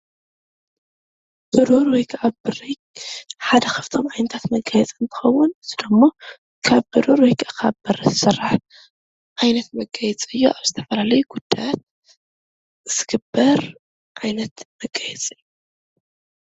ብሩር ወይ ከዓ ብሪ ሓደ ካብቶም ዓይነታት መጋየፂ እንትከውን ንሱ ድማ ካብ ብሩር ወይ ከዓ ካብ ብሪ ዝስራሕ ዓይነት መጋየፂ እዩ፡፡ ኣብ ዝተፈላለዩ ጉዳያት ዝግበር ዓይነት መጋየፂ እዩ፡፡